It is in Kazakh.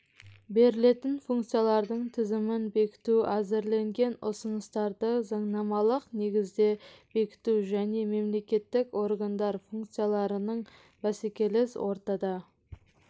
берілетін функциялардың тізімін бекіту әзірленген ұсыныстарды заңнамалық негізде бекіту және мемлекеттік органдар функцияларының бәсекелес ортада